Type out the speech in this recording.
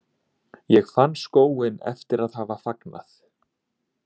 Ég fann skóinn eftir að hafa fagnað.